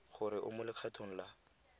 gore o mo legatong la